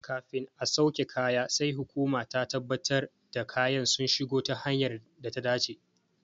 Kafin a sauke kaya sai hukuma ta tabbatar da kayan sun shigo ta hanyar data dace.